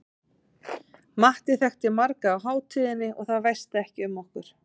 Matti þekkti marga á hátíðinni og það væsti ekki um okkur.